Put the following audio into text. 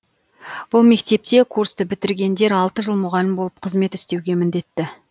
бұл мектепте курсты бітіргендер алты жыл мұғалім болып қызмет істеуге міндетті